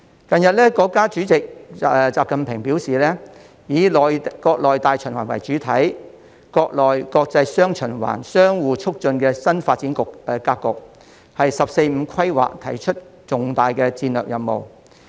近日，國家主席習近平表示，以國內大循環為主體，國內國際雙循環相互促進的新發展格局，為"十四五"規劃提出的重大戰略任務。